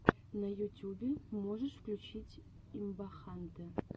на ютюбе можешь включить имбахантэ